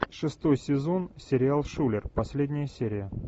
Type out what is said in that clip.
шестой сезон сериал шулер последняя серия